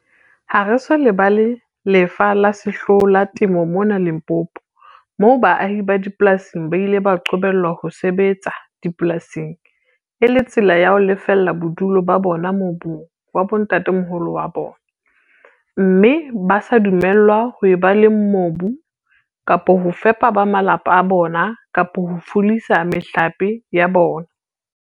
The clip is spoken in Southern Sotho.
"Ha re so lebala lefa le sehloho la temo mona Limpopo, moo baahi ba dipolasing ba ileng ba qobellwa ho sebetsa dipolasing e le tsela ya ho lefella bodulo ba bona mobung wa bontatamoholo ba bona, mme ba sa dumellwa ho eba le mobu kapa ho fepa ba malapa a bona kapa ho fulisa mehlape ya bona."